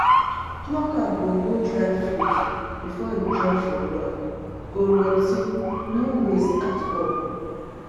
plucker go hold ripe fruit before e drop for ground go rot ten no waste at all